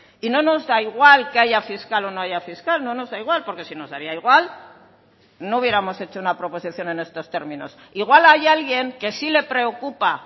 y no nos da igual que haya fiscal o no haya fiscal no nos da igual porque si nos daría igual no hubiéramos hecho una proposición en estos términos igual hay alguien que sí le preocupa